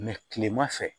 kilema fɛ